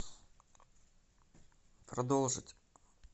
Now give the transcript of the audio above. продолжить